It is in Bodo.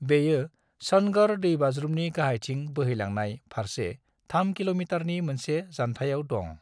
बेयो सनगढ़ा दैबाज्रुमनि गाहायथिं बोहैलांनाय फारसे 3 किल'मितारनि मोनसे जान्थायाव दं।